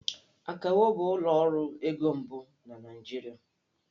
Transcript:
Akawo bụ ụlọ ọrụ ego mbụ na Naịjirịa